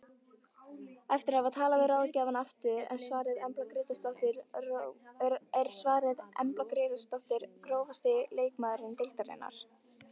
Eftir að hafa talað við ráðgjafann aftur er svarið Embla Grétarsdóttir Grófasti leikmaður deildarinnar?